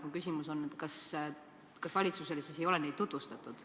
Mu küsimus on, kas valitsusele ei ole neid tutvustatud.